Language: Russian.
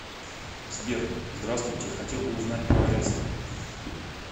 сбер здравствуйте хотел бы узнать про арест